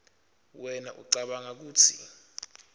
wena ucabanga kutsi